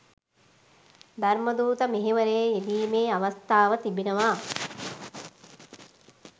ධර්මදූත මෙහෙවරේ යෙදීමේ අවස්ථාව තිබෙනවා.